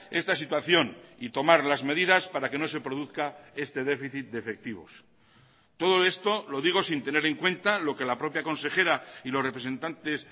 esta situación y tomar las medidas para que no se produzca este déficit de efectivos todo esto lo digo sin tener en cuenta lo que la propia consejera y los representantes